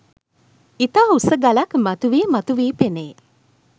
ඉතා උස ගලක් මතුවී මතුවී පෙනේ.